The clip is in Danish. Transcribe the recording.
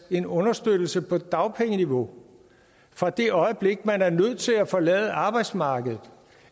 en understøttelse på dagpengeniveau fra det øjeblik man er nødt til at forlade arbejdsmarkedet